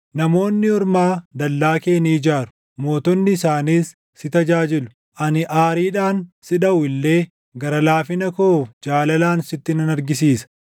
“Namoonni ormaa dallaa kee ni ijaaru; mootonni isaaniis si tajaajilu; Ani aariidhaan si dhaʼu illee, gara laafina koo jaalalaan sitti nan argisiisa.